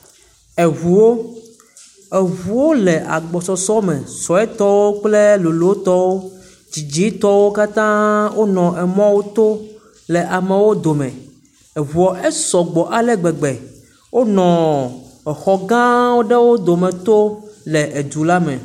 Eŋuwo, eŋuwo le agbɔsɔsɔ me, suetɔwo kple lolotɔwo, diditɔwo katãa wonɔ emɔwoto le amewo dome, eŋuɔ esɔgbɔ ale gbegbe, wonɔ exɔ gãwo ɖewo dome tom le edu la me.